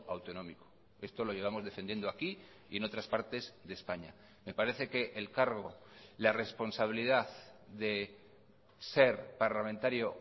autonómico esto lo llevamos defendiendo aquí y en otras partes de españa me parece que el cargo la responsabilidad de ser parlamentario